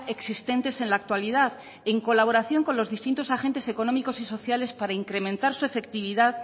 existentes en la actualidad en colaboración con los distintos agentes económicos y sociales para incrementar su efectividad